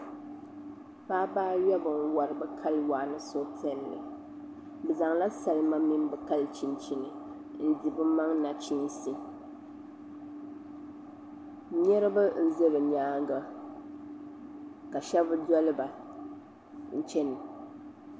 Paɣaba ayobu n wori bi kali waa ni suhupiɛlli bi zaŋla salima mini bi kali chinchini n di bi maŋ nachiinsi niraba n ʒɛ bi nyaanga ka shab doliba n chɛna